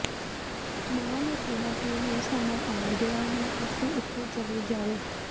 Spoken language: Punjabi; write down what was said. ਮਾਂ ਨੇ ਕਿਹਾ ਕਿ ਹੁਣ ਸਮਾਂ ਆ ਗਿਆ ਹੈ ਅਸੀ ਇੱਥੋਂ ਚਲੇ ਜਾਵੇ